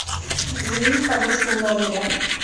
заменить подушку в номере